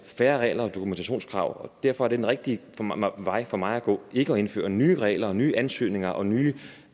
færre regler og dokumentationskrav og derfor er den rigtige vej for mig at gå ikke at indføre nye regler nye ansøgninger og nye